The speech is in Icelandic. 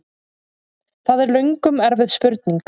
Það er löngum erfið spurning!